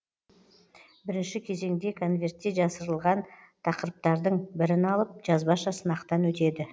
бірінші кезеңде конвертте жасырылған тақырыптардың бірін алып жазбаша сынақтан өтеді